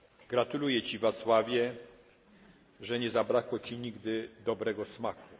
Gratuluję Ci Václavie, że nie zabrakło Ci nigdy dobrego smaku!